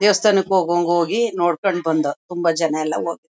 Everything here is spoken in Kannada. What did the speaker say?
ದೇವಸ್ಥಾನಕ್ ಹೋಗೋಂಗ್ ಹೋಗಿ ನೋಡ್ಕೊಂಡ್ ಬಂದೋ. ತುಂಬಾ ಜನ ಎಲ್ಲ ಹೋ--